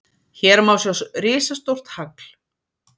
Hér má sjá risastórt hagl!